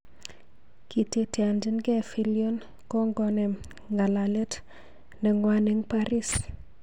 Kiteteanchigei Fillion kongonem ng'alalet ne ngwan eng Paris